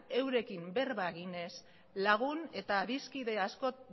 eurekin berba egin ez lagun eta adiskide asko